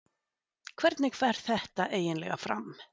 Hvernig fer þetta eiginlega fram?